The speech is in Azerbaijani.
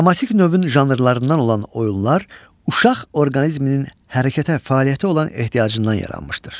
Dramatik növün janrlarından olan oyunlar uşaq orqanizminin hərəkətə, fəaliyyətə olan ehtiyacından yaranmışdır.